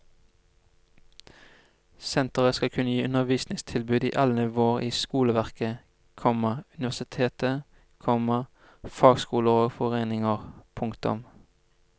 Senteret skal kunne gi undervisningstilbud i alle nivåer i skoleverket, komma universitet, komma fagskoler og foreninger. punktum